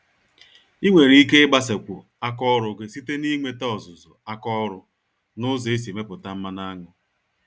Ịnwere ike igbasakwu àkà ọrụ gị site na inweta ọzụzụ àkà ọrụ, nụzọ esi emepụta mmanụ aṅụ.